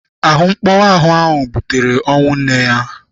Ahụmkpọnwụ ahụ butere ọnwụ nne ya.